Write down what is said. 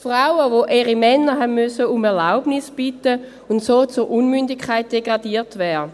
Frauen, die ihre Männer um Erlaubnis bitten mussten und so zur Unmündigkeit degradiert wurden.